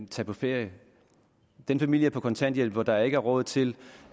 tage på ferie den familie på kontanthjælp hvor der ikke er råd til